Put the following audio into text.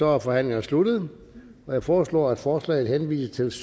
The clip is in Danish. er forhandlingerne sluttet jeg foreslår at forslaget henvises